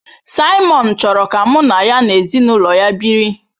Simon chọrọ ka mụ na ya na ezinụlọ ya biri.